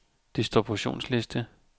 distributionsliste